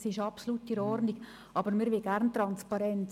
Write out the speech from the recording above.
das ist absolut in Ordnung, aber wir wollen gerne Transparenz.